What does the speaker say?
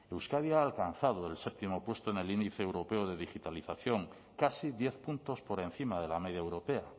euskadi ha alcanzado el séptimo puesto del índice europeo de digitalización casi diez puntos por encima de la media europea